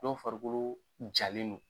Dɔw farikolo jalen no.